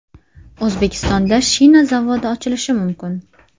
O‘zbekistonda shina zavodi ochilishi mumkin.